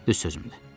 Düz sözümdür.